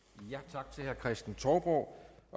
tak til herre kristen touborg